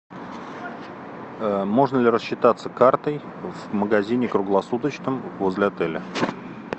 можно ли рассчитаться картой в магазине круглосуточном возле отеля